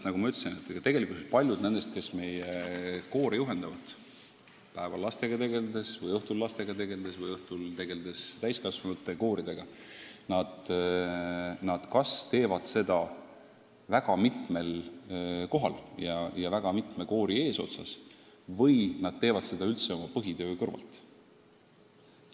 Nagu ma ütlesin, paljud inimesed, kes meie koore juhendavad kas päeval lastega tegeldes või õhtul täiskasvanute kooridega tegeldes, teevad seda väga mitmes kohas ja väga mitme koori eesotsas, seejuures vahel oma põhitöö kõrvalt.